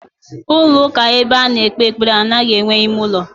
Ulo uka ebe ano ekpe ekpere anoghi enwe ime ulo.